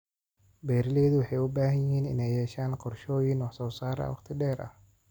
Beeraleydu waxay u baahan yihiin inay yeeshaan qorshooyin wax-soo-saar waqti dheer ah.